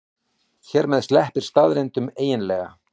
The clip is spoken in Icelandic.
Hér með sleppir staðreyndunum eiginlega.